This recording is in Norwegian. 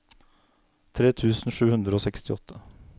tre tusen sju hundre og sekstiåtte